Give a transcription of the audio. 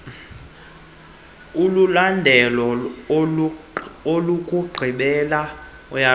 olulandela olokugqibela uyaqonda